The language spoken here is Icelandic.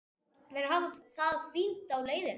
Þær hafa það fínt á leiðinni.